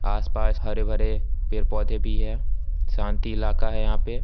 आस-पास हरे-भरे पेड़-पौधे भी हैं शांत इलाका हैं यहां पे।